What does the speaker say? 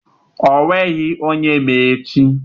Onweghi onye ma echi.